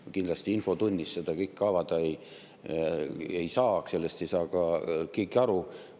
Ma kindlasti infotunnis seda kõike avada ei saa, sellest ei saaks ka keegi aru.